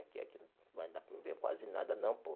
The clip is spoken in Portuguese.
Aqui aqui não vai dar para me ver quase nada não, pô.